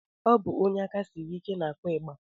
Ọ bụ onye aka siri ike na-akụ ịgba